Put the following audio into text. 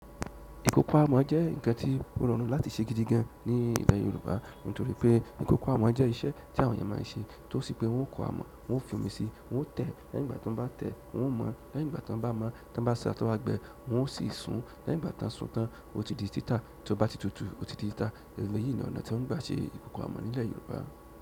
Nkan oko amọ̀ jẹ́ ǹkan tí ó rọrùn láti ṣe gidi gan ní ìlẹ̀ Yorùbá, nítorí pé ìkókó amọ̀ jẹ́ iṣẹ́ tí àwọn ènìyàn máa n ṣe. Tó sí pé wọ́n ó kó amọ̀, wọ́n ó fi omi síi, wọ́n ó tẹ̀, lẹ́yìn ìgbà tí wọ́n bá tẹ̀, wọ́n ó mọ̀n, lẹ́yìn ìgbà tí wọ́n bá mọ̀n, tí wọ́n bá sa tó bá gbẹ, wọ́n ó sì sun, lẹ́yìn ìgbà tí wọ́n sun tán, ó ti di títà, tí ó bá ti tutù, ó ti di títà. Ìgbà yìí ni ọ̀nà tí wọ́n gbà ṣe ìkókó amọ̀ nílẹ̀ Yorùbá.